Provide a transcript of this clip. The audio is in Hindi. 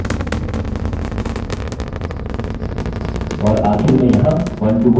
और आखिर में यहाँ onetoone relationship है